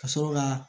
Ka sɔrɔ ka